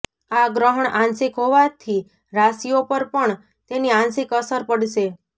આ ગ્રહણ આંશિક હોવાથી રાશિઓ પર પણ તેની આંશિક અસર પડશે